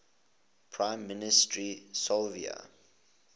prime minister silvio